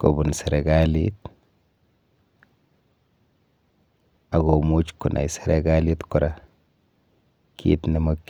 kobun serikalit akomuch konai serikalit kora kit nemokchingei...